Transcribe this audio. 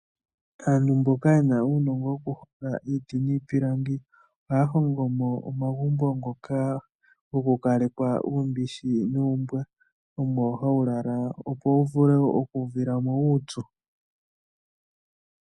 Aantu mboka yena uunongo woku honga iiiti niipilangi, ohaya hongomo omagumbo ngoka goku kalekwa uumbishi nuumbwa. Omo hawu lala opo wu vule oku uvila mo uupyu.